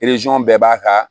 bɛɛ b'a ka